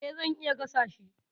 E, zan iya gasa shi.